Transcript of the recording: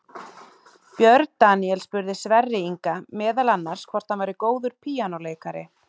Björn Daníel spurði Sverri Inga meðal annars hvort hann væri góður píanóleikari.